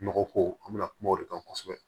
Nɔgɔ ko an mi na kuma o de kan kosɛbɛ